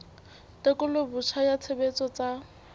tekolo botjha ya tshebetso tsa